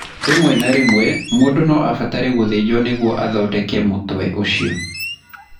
Rĩmwe na rĩmwe mũndũ no abatare gũthĩnjwo nĩguo athondeke mũtwe ũcio.